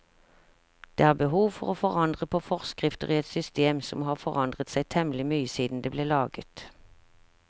Det er behov for å forandre på forskrifter i et system som har forandret seg temmelig mye siden det ble laget.